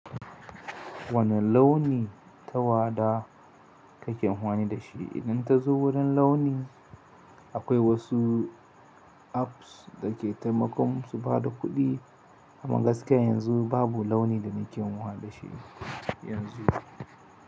Wanne launi tawada kake anfani i da shi? Idan ta zo wurin launi, akwai wasu apps da ke taimakon su ba da kuɗi. Amma gaskiya yanzu babu launi da nake nkwane da shi yanzu.